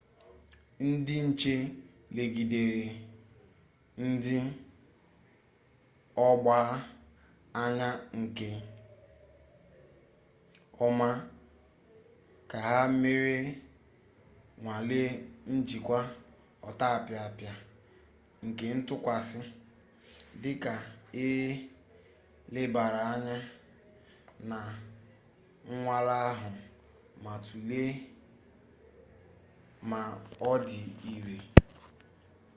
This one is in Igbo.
ndị nche legidere ndị ọgbaa anya nke ọma ka ha mere nnwale njikwa ọtapịapịa nke ntụkwasị dịka e lebara anya na nnwale ahụ ma tụlee ma ọ dị ire